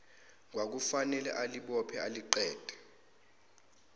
kwakufanele aliphuze aliqede